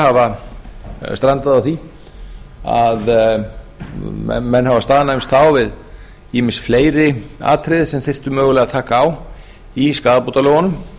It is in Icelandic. hafa strandað á því að menn hafa staðnæmst þá við ýmis fleiri atriði sem þyrfti mögulega að taka á í skaðabótalögunum